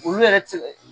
Olu yɛrɛ tɛ se